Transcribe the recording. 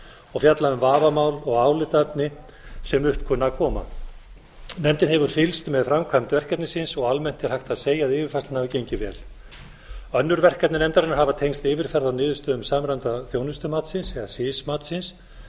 og fjalla um vafamál og álitaefni sem upp kunna að koma nefndin hefur fylgst með framkvæmd verkefnisins og almennt er hægt að segja að yfirfærslan hafi gengið vel önnur verkefni nefndarinnar hafa tengst yfirferð á niðurstöðum samræmda þjónustumatsins eða sis matsins